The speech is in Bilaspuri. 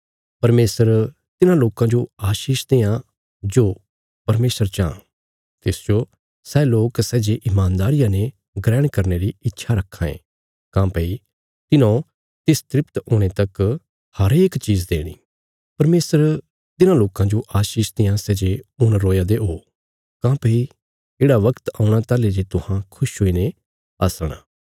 परमेशर तिन्हां लोकां जो आशीष देआं जो परमेशर चाँह तिसजो सै लोक सै जे ईमानदारिया ने ग्रहण करने री इच्छा रक्खां ये काँह्भई तिन्हौ तिस तृप्त हुणे तक हरेक चीज़ देणी परमेशर तिन्हां लोकां जो आशीष देआं सै जे हुण रोया दे ओ काँह्भई येढ़ा बगत औणा ताहली जे तुहां खुश हुईने हसणा